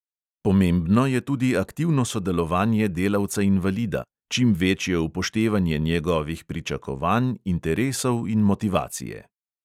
Pomembno je tudi aktivno sodelovanje delavca invalida, čim večje upoštevanje njegovih pričakovanj, interesov in motivacije.